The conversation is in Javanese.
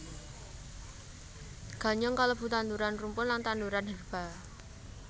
Ganyong kalebu tanduran rumpun lan tanduran herba